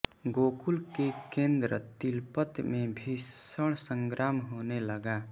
गोकुल के केन्द्र तिलपत में भीषण संग्राम होने लगा